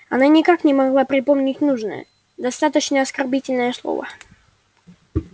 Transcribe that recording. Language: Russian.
она никак не могла припомнить нужное достаточно оскорбительное слово